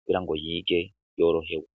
kubira ngo yige yorohewe.